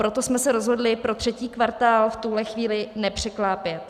Proto jsme se rozhodli pro třetí kvartál v tuhle chvíli nepřeklápět.